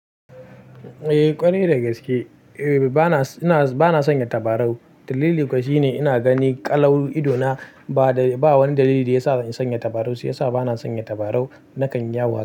Eh ƙwarai da gaske, eh bana, ina, bana sanya tabarau. Dalili kawai shine ina gani ƙalau idona ba da, ba wani dalili da ya sa in sanya tabarau, shi ya sa bana sanya tabarau nakan yawo.